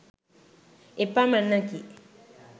එපමණෙකි